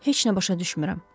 Heç nə başa düşmürəm.